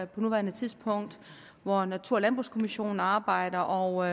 på nuværende tidspunkt hvor natur og landbrugskommissionen arbejder og